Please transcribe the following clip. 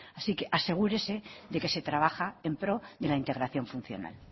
así que asegúrese de que se trabaja en pro de la integración funcional